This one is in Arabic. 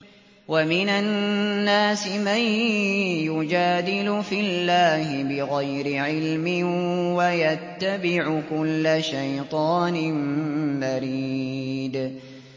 وَمِنَ النَّاسِ مَن يُجَادِلُ فِي اللَّهِ بِغَيْرِ عِلْمٍ وَيَتَّبِعُ كُلَّ شَيْطَانٍ مَّرِيدٍ